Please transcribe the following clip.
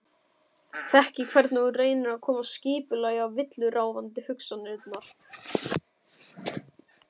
Þekki hvernig þú reynir að koma skipulagi á villuráfandi hugsanirnar.